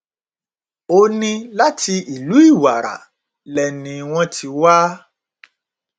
ó ní láti ìlú ìwàrà lẹni wọn ti wá